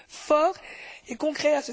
forts et concrets.